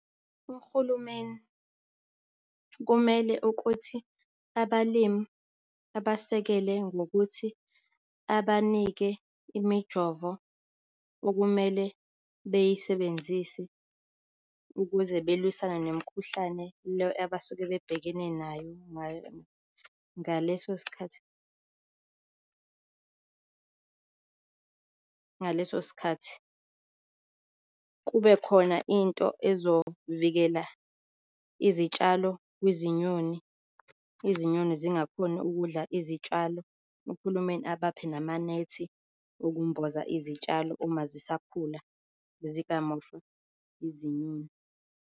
Uhulumeni kumele ukuthi abalimi abasekele ngokuthi abanike imijovo okumele beyisebenzise ukuze belwisane nemikhuhlane leyo abasuke bebhekene nayo ngaleso sikhathi ngaleso sikhathi, kube khona into ezovikela izitshalo kwizinyoni, izinyoni zingakhoni ukudla izitshalo, uhulumeni abaphe namanethi ukumboza izitshalo uma zisakhula zingamoshwa izinyoni.